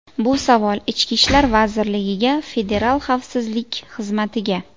Bu savol ichki ishlar vazirligiga, federal xavfsizlik xizmatiga.